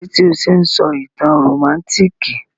Kílódé tí o se n sọ ìtàn rómántikì?